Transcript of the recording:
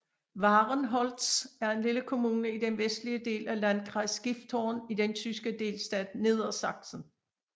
Wahrenholz er en lille kommune i den vestlige del af Landkreis Gifhorn i den tyske delstat Niedersachsen